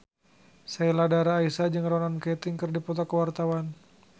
Sheila Dara Aisha jeung Ronan Keating keur dipoto ku wartawan